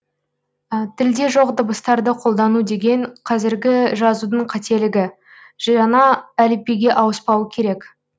тілде жоқ дыбыстарды қолдану деген кәзіргі жазудың қателігі жаңа әліпбиге ауыспау керек